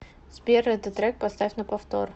сбер этот трек поставь на повтор